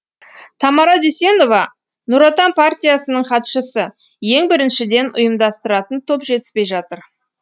тамара дүйсенова нұр отан партиясының хатшысы ең біріншіден ұйымдастыратын топ жетіспей жатыр